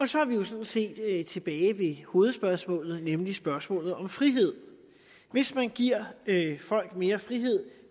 så er vi jo sådan set tilbage ved hovedspørgsmålet nemlig spørgsmålet om frihed hvis man giver folk mere frihed